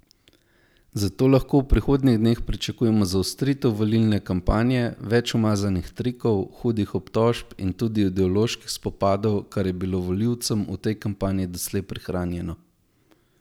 Zato lahko v prihodnjih dneh pričakujemo zaostritev volilne kampanje, več umazanih trikov, hudih obtožb in tudi ideoloških spopadov, kar je bilo volilcem v tej kampanji doslej prihranjeno.